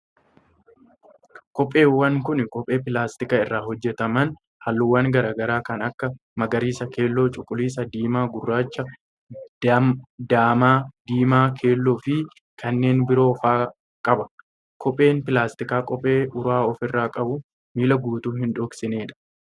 Kopheewwan kun, kophee pilaastika irraa hojjataman haalluuwwan garaa garaa kan akka: magariisa, keelloo, cuquliisa, diimaa, gurraacha, daamaa, diimaa keelloo fi kanneen biroo faa qaba. Kopheen pilaastikaa kophee uraa of irraa qabu miila guutuu hin dhoksinee dha.